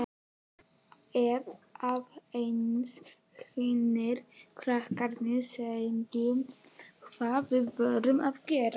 Ef aðeins hinir krakkarnir sæju hvað við vorum að gera.